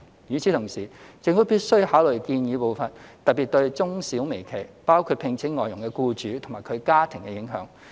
與此同時，政府必須考慮建議步伐，特別對中小微企，包括聘請外傭的僱主及其家庭的影響。